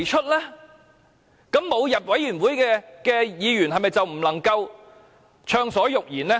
這樣，沒有加入小組委員會的議員，是否就不能夠暢所欲言？